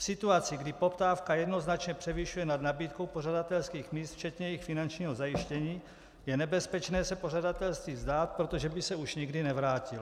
V situaci, kdy poptávka jednoznačně převyšuje nad nabídkou pořadatelských míst včetně jejich finančního zajištění, je nebezpečné se pořadatelství vzdát, protože by se už nikdy nevrátilo.